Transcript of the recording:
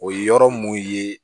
O ye yɔrɔ mun ye